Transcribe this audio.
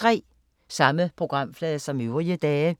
Samme programflade som øvrige dage